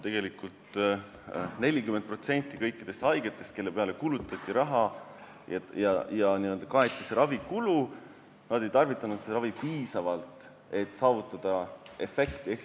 Tegelikult aga 40% kõikidest haigetest, kelle peale kulutati raha ja kelle ravikulu kaeti, ei tarvitanud seda ravimit piisavalt, et saavutada efekti.